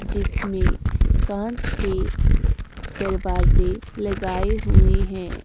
जिसमें कांच के दरवाजे लगाए हुए हैं।